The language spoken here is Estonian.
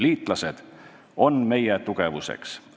Liitlased on meie tugevuseks.